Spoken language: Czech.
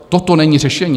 Toto není řešení.